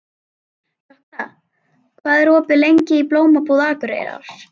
Jökla, hvað er opið lengi í Blómabúð Akureyrar?